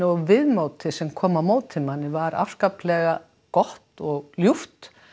og viðmótið sem kom á móti manni var afskaplega gott og ljúft